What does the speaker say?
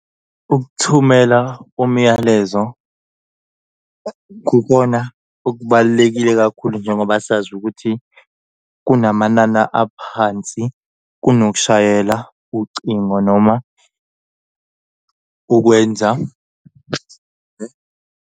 Ukuthumela umyalezo kukona okubalulekile kakhulu njengoba sazi ukuthi kunamanana aphansi kunokushayela ucingo noma ukwenza.